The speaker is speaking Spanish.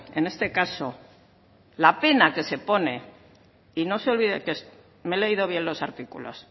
en este caso la pena que se pone y no se olvide que me he leído bien los artículos